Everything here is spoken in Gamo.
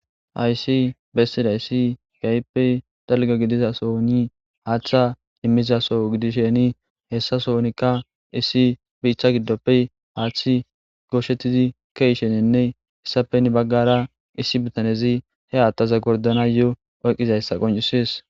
aysi bessiday issi gayppe dalga gidizaso ni haaththa immizaso gidisheni hessasonikka issi biicha giddoppe haaththi gooshettizi keishenenne hessapeni baggara issi bitanezi he aattaza gordana yo oyqqizayssa qoncisees